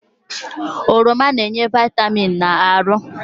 Oroma na-enye vịtamịn n'ahụ